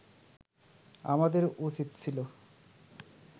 আমাদের উচিত ছিল